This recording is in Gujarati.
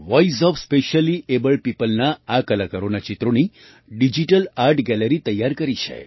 વોઇસ ઓએફ Speciallyabledpeopleના આ કલાકારોનાં ચિત્રોની ડિજિટલ આર્ટ ગેલેરી તૈયાર કરી છે